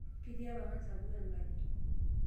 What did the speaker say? Ketii ewang'an sapuk enkaji.